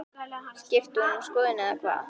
Skipti hún um skoðun eða hvað?